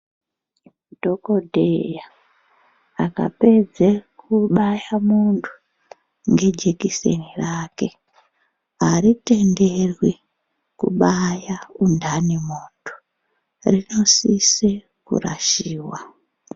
Dhokodheya akapedze kubaya muntu ngejekiseni rake, haritenderwi kubaya munthani muntu, rinosise kurashiwa.